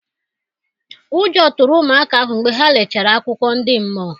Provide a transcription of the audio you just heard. Ụjọ tụrụ ụmụaka ahụ mgbe ha lechara akụkọ ndị mmụọ.